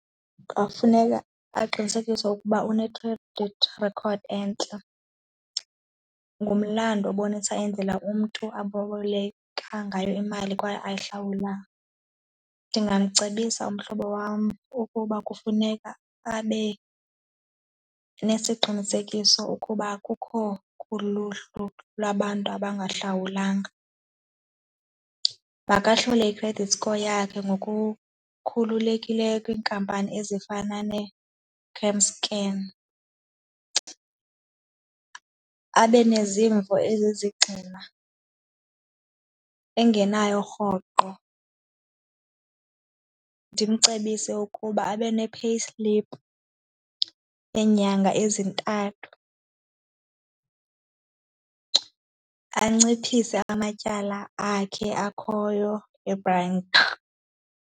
Kungafuneka aqinisekise ukuba une-credit record entle, ngumlando obonisa endlela umntu aboleka ngayo imali kwaye ayihlawula. Ndingamcebisa umhlobo wam ukuba kufuneka abe nesiqinisekiso ukuba akukho kuluhlu lwabantu abangahlawulanga, makahlole i-credit score yakhe ngokukhululekileyo kwiinkampani ezifana ne-cam scan, abe nezimvo ezizigxina engenayo rhoqo. Ndimcebise ukuba abe ne-payslip yeenyanga ezintathu, anciphise amatyala akhe akhoyo e-bank.